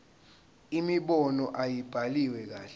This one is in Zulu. imibono ayibhaliwe kahle